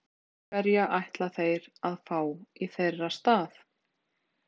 Ef þeir skrifa ekki undir, hverja ætla þeir að fá í þeirra stað?